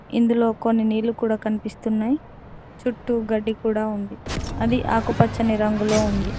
ఇందులో కొన్ని నీళ్ళు కూడా కనిపిస్తున్నాయి చుట్టూ గడ్డి కూడా ఉంది అది ఆకుపచ్చని రంగులో ఉంది.